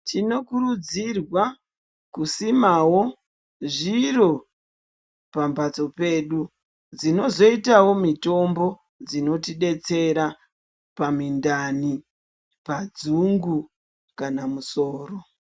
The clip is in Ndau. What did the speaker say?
Tinokuridzirwa kusimawo zviro pambatso pedu ,dzinozoitawo mitombo dzinotidetsera pamindani ,padzungu kana musoro.